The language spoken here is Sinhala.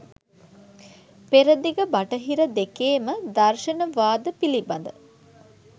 පෙරදිග බටහිර දෙකේම දර්ශන වාද පිළිබඳ